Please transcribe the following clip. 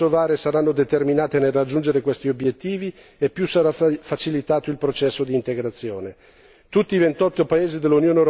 Del resto, più le autorità kosovare saranno determinate nel raggiungere questi obiettivi, più sarà facilitato il processo di integrazione.